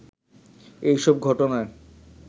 এ সব ঘটনায়